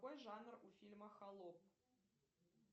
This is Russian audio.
какой жанр у фильма холоп